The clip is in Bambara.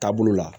Taabolo la